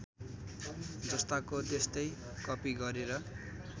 जस्ताको त्यस्तै कपि गरेर